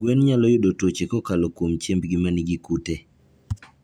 Gwen nyalo yudo tuoche kokalo kuom chiembgi ma nigi kute.